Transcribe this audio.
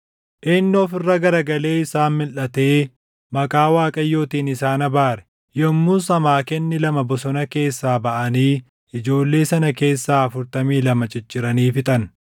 Inni of irra garagalee isaan milʼatee maqaa Waaqayyootiin isaan abaare. Yommus amaakenni lama bosona keessaa baʼanii ijoollee sana keessaa afurtamii lama cicciranii fixan.